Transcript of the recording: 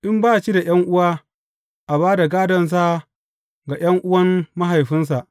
In ba shi da ’yan’uwa, a ba da gādonsa ga ’yan’uwan mahaifinsa.